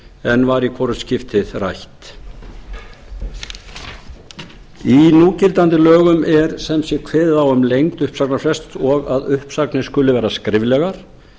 en var í hvorugt skiptið rætt í núgildandi lögum er sem sé kveðið á um lengd uppsagnarfrests og að uppsagnir skuli vera skriflegar